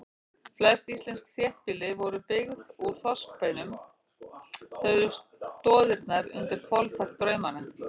Flest íslensk þéttbýli voru byggð úr þorskbeinum, þau eru stoðirnar undir hvolfþak draumanna.